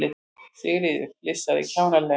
Sigríður flissaði kjánalega.